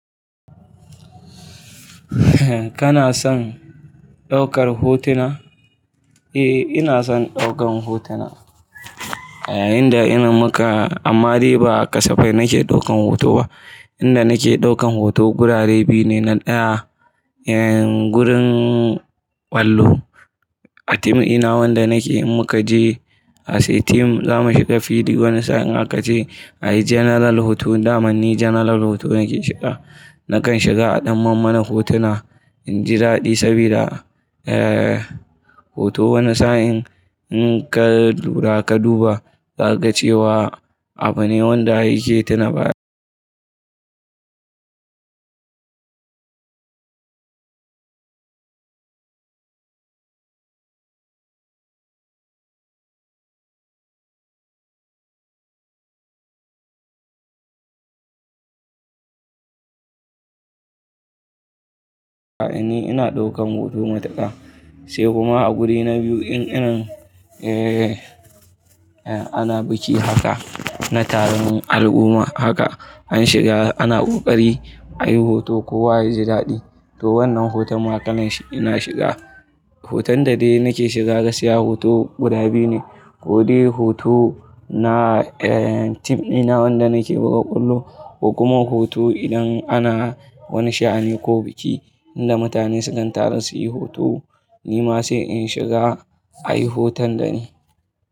Kana son ɗaukar hotuna? Eh, ina son ɗaukan hotuna. Eh, inda ina muka, amma dai ba kasafai nake ɗaukan hoto ba. Inda nake ɗaukan hoto gurare biyu ne, na ɗaya, gurin kwallo. A tim ɗina wanda nake in muka je a say tim zamu shiga field wani sa'in aka ce a yi general hoton damanni general hoto nake shiga. Nakan shiga a ɗan mammana hotuna inji daɗi saboda, hoto wani sa'in in ka lura ka duba ka ga cewa abu ne wanda yake tuna baya. Ni ina ɗaukan hoto matuka. Sai kuma a guri na biyu in ina, eh ana biki haka, na taron al'umma haka, an shiga ana ƙoƙari a yi hoto ko wa yaji daɗi, to wannan hoton ma tanan shi ina shiga. Hoton da dai nake shiga gaskiya hoto guda biyu ne, ko dai hoto na, eh, tim ɗina wanda nake buga kwallo, ko kuma hoto idan ana wani sha'ani ko biki inda mutane sukan taru su yi hoto, ni ma sai in shiga a yi hoton da ni.